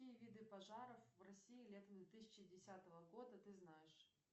какие виды пожаров в россии летом две тысячи десятого года ты знаешь